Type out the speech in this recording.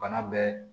Bana bɛɛ